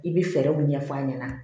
I bi fɛɛrɛw ɲɛf'a ɲɛna